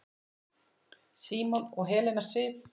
Símon og Helena Sif.